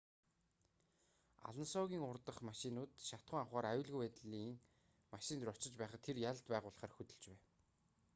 алонсогийн урдах машинууд шатахуун авахаар аюулгүй байдлын машин руу очиж байхад тэр ялалт байгуулахаар хөдөлж байв